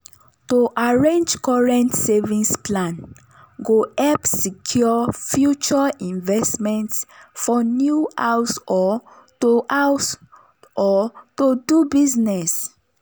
to arrange correct savings plan go help secure future investments for new house or to house or to do business.